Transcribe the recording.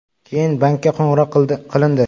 Keyin bankka qo‘ng‘iroq qilindi.